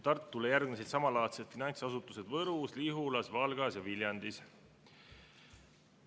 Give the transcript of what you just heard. Tartule järgnesid samalaadsed finantsasutused Võrus, Lihulas, Valgas ja Viljandis.